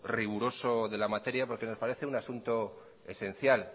riguroso de la materia porque nos parece un asunto esencial